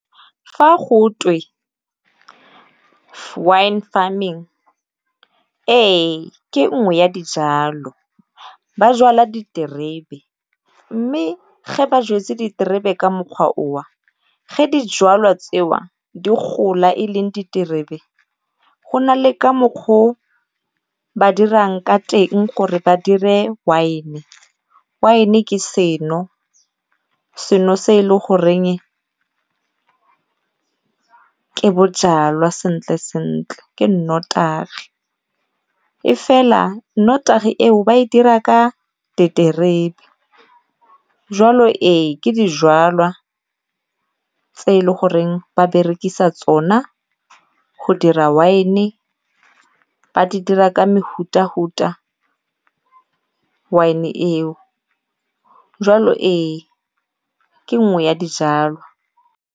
Fa go twe wine farming ee ke nngwe ya dijalo. Ba jwala diterebe mme ge ba jwetse diterebe ka mokgwa o wa, ge dijalwa tse wa di gola e leng diterebe go na le ka mokgwa o ba dirang ka teng gore ba dire wine-e. Wine-e ke seno, seno se e le goreng ke bojalwa sentle sentle ke nnotagi e fela nnotagi eo ba e dira ka diterebe. jwalo e ke dijalwa tse e le goreng ba berekisa tsona go dira wine-e ba di dira ka wine-e eo. jwalo ee ke nngwe ya dijalo.